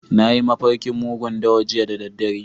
Na yi mafarkin mugun dawa jiya da dare.